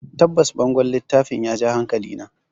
Tabbas, bangon littafin ya ja hankalina.